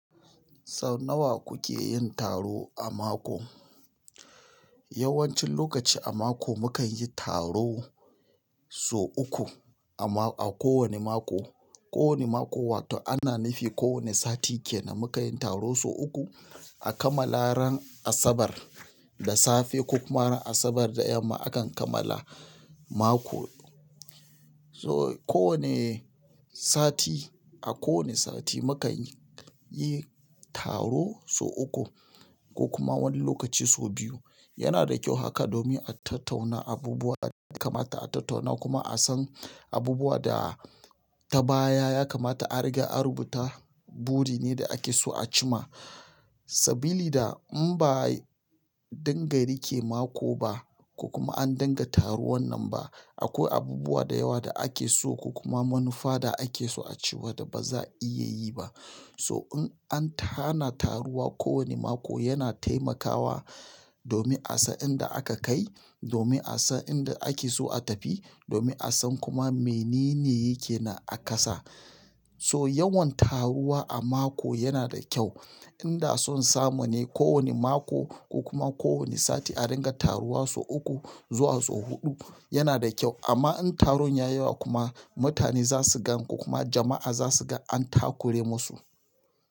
Sau nawa kuke yin taro a mako? Yawancin lokaci a mako mukan yi taro sau uku a ma-- a kowane mako. Kowane mako wato ana nufi kowane sati kenan muka yin taro sau uku a kammala ran Asabar da safe ko kuma ran Asabar da yamma akan kammala mako. So kowane sati, a kowane sati mukanyi taro sau uku ko kuma wani lokaci sau biyu. Yanada ƙyau haka domin a tattauna abubuwa daya kamata a tattauna kuma asan abubuwa da ta baya ya kamata a riga an rubuta. Burine da ake so a cimma. Sabilida in ba'a dinga rike mako ba ko kuma an dinga taruwannan ba akwai abubuwa da yawa da ake so ko kuma manufa da akeso da baza'a iya yibam. So in an hana taruwa kowane mako yana taimakawa domin a san inda aka kai, domin a san inda akeso a tafi, domin a san kuma menene yake nan a kasa. So yawan taruwa a mako yana da kyau. Inda son samu ne kowane mako ko kuma kowane sati a dinga taruwa sau uku zuwa sau huɗu yana da ƙyau amma in taron yayi yawa kuma mutane zasu gan ko kuma jama'a zasu ga an takure musu.